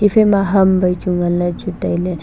haphaima ham vaichu ngan le chu taile.